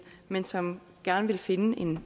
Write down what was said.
men som gerne vil finde